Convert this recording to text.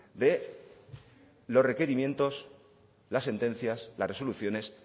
de los requerimientos las sentencias las resoluciones